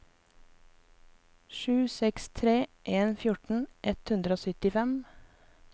sju seks tre en fjorten ett hundre og syttifem